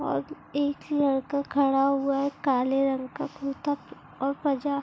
और एक लड़का खड़ा हुआ है काले रंग का कुर्ता प और पजा--